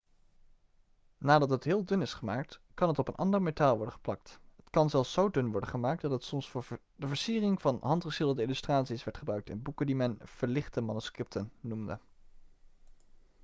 nadat het heel dun is gemaakt kan het op een ander metaal worden geplakt het kan zelfs zo dun worden gemaakt dat het soms voor de versiering van handgeschilderde illustraties werd gebruikt in boeken die men verlichte manuscripten' noemde